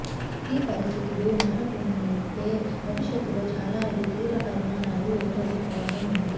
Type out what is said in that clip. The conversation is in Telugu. ఈ పరిస్థితులు మారకుంటే భవిష్యత్తులో చాలా ఇది తీవ్ర పరిణామాలు ఎదురయ్యే ప్రమాదం ఉంది